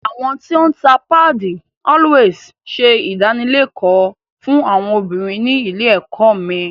Àwọn tó ń ta páàdì “Always” ṣe ìdánilẹ́kọ̀ọ́ fún àwọn obìnrin ní ilé ẹ̀kọ́ mi